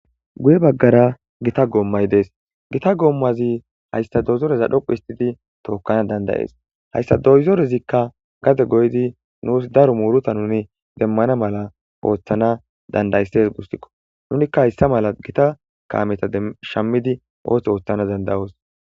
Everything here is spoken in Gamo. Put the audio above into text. guye baggara gita goommay dees gita goommazi hayssa dozoreza dhoqu histidi tookkana dandayees hayssa doyzorezikka gade goydi nuus daro muuruta nuni demmana mala ooththana dandaysses gussikko nunikka hayssa mala gita kaameta shammidi ooththo ooththana dandayoos